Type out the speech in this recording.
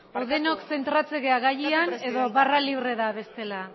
edo denok zentratzen gara gaian edo barra libre da bestela